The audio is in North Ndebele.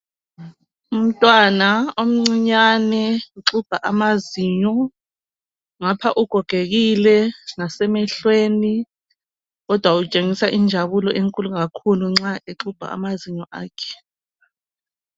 Umntwana omncinyane uxubha amazinyo, ngapha ugogekile ngasemehlehlweni kodwa utshengisa injabulo enkulu kakhulu nxa exubha amazinyo akhe.